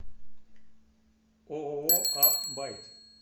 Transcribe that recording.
ооо а байт